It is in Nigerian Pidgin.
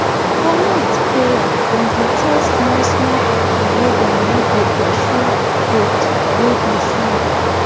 for night prayer dem dey tell smallsmall pikin make dem no dey pursue goat wey dey sleep